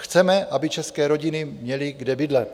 Chceme, aby české rodiny měly kde bydlet.